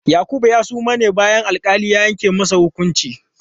Yakubu ya suma ne bayan da alƙali ya yanke masa hukunci.